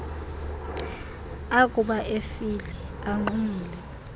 akuba efile anqumle